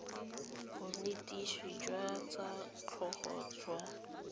bonetetshi jwa tsa tlhago jwa